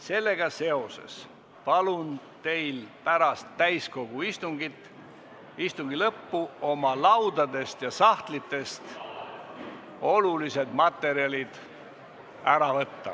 Sellega seoses palun teil pärast täiskogu istungi lõppu oma laudadelt ja sahtlitest olulised materjalid kaasa võtta.